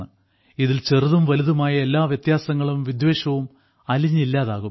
ഇതിൽ ചെറുതും വലുതുമായ എല്ലാ വ്യത്യാസങ്ങളും വിദ്വേഷവും അലിഞ്ഞില്ലതാകും